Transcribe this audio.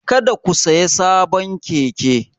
Kada ku sayi sabon keke!